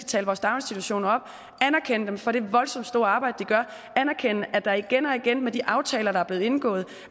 tale vores daginstitutioner op anerkende dem for det voldsomt store arbejde de gør anerkende at der igen og igen med de aftaler der er blevet indgået